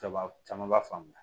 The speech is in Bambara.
Caman caman b'a faamuya